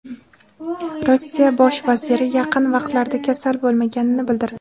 Rossiya bosh vaziri yaqin vaqtlarda kasal bo‘lmaganini bildirdi.